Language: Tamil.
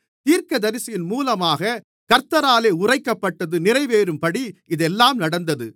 தீர்க்கதரிசியின் மூலமாகக் கர்த்தராலே உரைக்கப்பட்டது நிறைவேறும்படி இதெல்லாம் நடந்தது